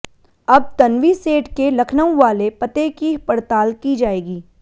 अब तन्वी सेठ के लखनऊ वाले पते की पड़ताल की जाएगी